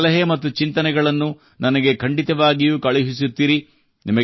ನಿಮ್ಮ ಸಲಹೆ ಮತ್ತು ಚಿಂತನೆಗಳನ್ನು ನನಗೆ ಖಂಡಿತವಾಗಿಯೂ ಕಳುಹಿಸುತ್ತಿರಿ